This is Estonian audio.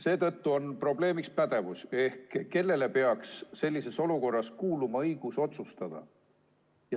Seetõttu on probleemiks pädevus ehk kellele peaks sellises olukorras kuuluma õigus otsustada.